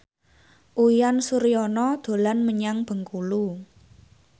Uyan Suryana dolan menyang Bengkulu